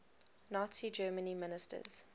nazi germany ministers